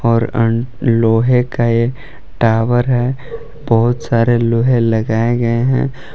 और लोहे का ये टावर है बहुत सारे लोहे लगाए गए हैं।